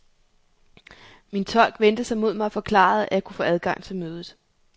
Min tolk vendte sig mod mig og forklarede, at jeg kunne få adgang til mødet.